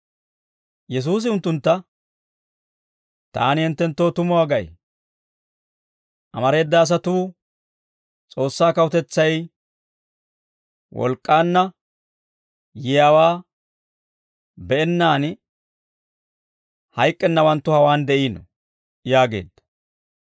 Yesuusi unttuntta, «Taani hinttenttoo tumuwaa gay; amareeda asatuu S'oossaa kawutetsay wolk'k'aanna yiyaawaa be'ennaan hayk'k'ennawanttu hawaan de'iino» yaageedda.